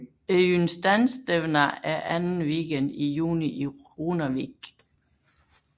Eystanstevna er anden weekend i juni i Runavík